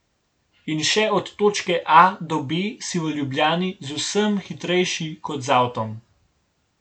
In še od točke A do B si v Ljubljani z vsem hitrejši kot z avtom.